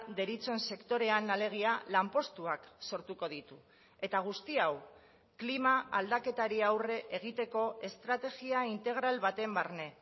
deritzon sektorean alegia lanpostuak sortuko ditu eta guzti hau klima aldaketari aurre egiteko estrategia integral baten barne